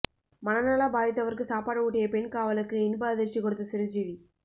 மனநலம் பாதித்தவருக்கு சாப்பாடு ஊட்டிய பெண் காவலருக்கு இன்ப அதிர்ச்சி கொடுத்த சிரஞ்சீவி